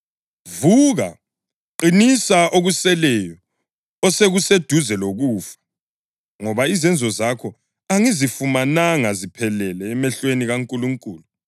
Vuka! Qinisa okuseleyo osekuseduze lokufa, ngoba izenzo zakho angizifumananga ziphelele emehlweni kaNkulunkulu.